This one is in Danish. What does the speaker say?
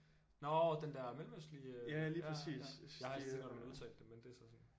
Nåh den der mellemøstlige øh ja ja jeg har altid tænkt over hvordan men udtalte det men det er så sådan